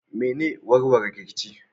Me ne warware rikici?